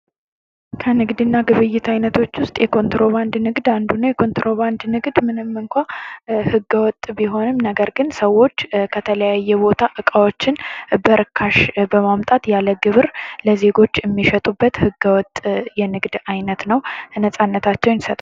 ከንግድና ግብይት አይነቶች ውስጥ የኮንትሮባንድ ንግድ አንዱ ነው። የኮንትሮባንድ ንግድ ምንም እንኳ ህገወጥ ቢሆንም ነገር ግን ሰዎች ከተለያየ ቦታ እቃዎችን በርካሽ በማምጣት ያለ ግብር ለዜጎች የሚሸጡበት ህገወጥ የንግድ አይነት ነው፤ ነፃነታቸው ያሳጣል።